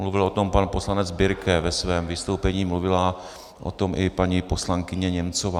Mluvil o tom pan poslanec Birke ve svém vystoupení, mluvila o tom i paní poslankyně Němcová.